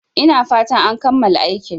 Ina fatan an kammala aikin